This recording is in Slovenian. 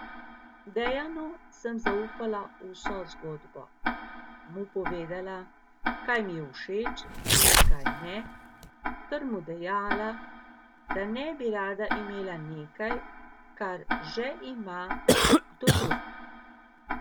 Dejanu sem zaupala vso zgodbo, mu povedala, kaj mi je všeč in kaj ne ter mu dejala, da ne bi rada imela nekaj, kar že ima kdo drug.